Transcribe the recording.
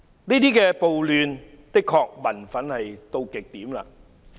這些暴亂的確令民憤達到極點。